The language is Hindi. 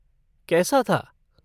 कैसा था?